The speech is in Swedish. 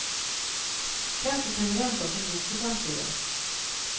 Kanske kan vi vänta oss en bok i framtiden.